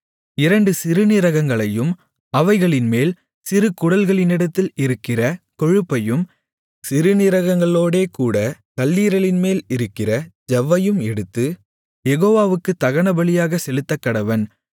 இரண்டு சிறுநீரகங்களையும் அவைகளின்மேல் சிறு குடல்களினிடத்தில் இருக்கிற கொழுப்பையும் சிறுநீரகங்களோடேகூடக் கல்லீரலின்மேல் இருக்கிற ஜவ்வையும் எடுத்து யெகோவாவுக்குத் தகனபலியாகச் செலுத்தக்கடவன்